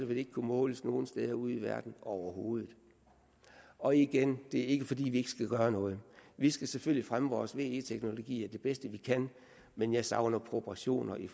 det ikke kunne måles nogen steder ude i verden overhovedet og igen det er ikke fordi vi ikke skal gøre noget vi skal selvfølgelig fremme vores ve teknologier det bedste vi kan men jeg savner proportioner i